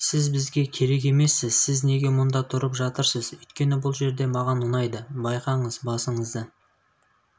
сіз бізге керек емессіз сіз неге мұнда тұрып жатырсыз өйткені бұл жер маған ұнайды байқаңыз басыңызды